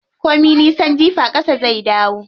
Ko min nisan jifa ƙasa zai faɗo.